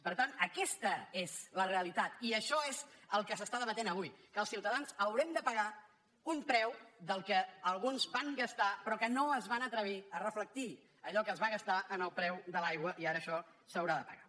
per tant aquesta és la realitat i això és el que s’està debatent avui que els ciutadans haurem de pagar un preu del que alguns van gastar però que no es van atrevir a reflectir allò que es va gastar en el preu de l’aigua i ara això s’haurà de pagar